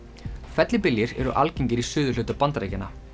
fellibyljir eru algengir í suðurhluta Bandaríkjanna